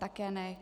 Také ne.